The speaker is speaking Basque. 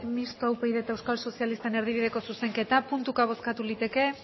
mistoa upyd eta euskal sozialistaren erdibideko zuzenketa puntuka bozkatuko liteke